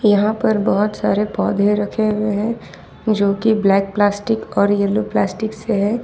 यहां पर बहोत सारे पौधे रखे हुए हैं जो की ब्लैक प्लास्टिक और येलो प्लास्टिक से है।